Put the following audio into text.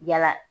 Yala